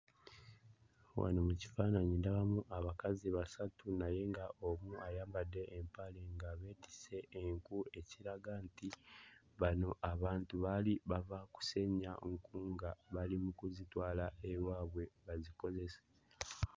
Wano mu kifaananyi ndabamu abakazi basatu naye nga omu ayambadde empale nga beetisse enku ekiraga nti bano abantu baali bava kusennya nku nga bali mu kuzitwala ewaabwe bazikozese.